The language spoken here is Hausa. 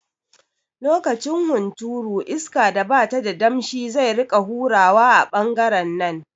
Lokacin hunturu iska da bata da damshi zai rika hurawa a ɓangaren nan